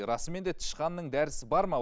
расымен де тышқанның дәрісі бар ма